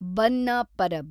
ಬಂದ್ನ ಪರಬ್